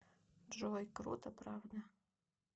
джой круто правда